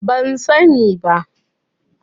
Ban sa ni ba